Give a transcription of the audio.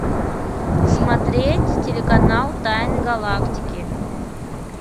смотреть телеканал тайны галактики